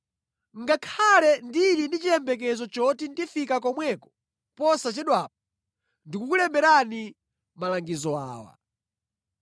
Ngakhale ndili ndi chiyembekezo choti ndifika komweko posachedwapa, ndikukulemberani malangizo awa.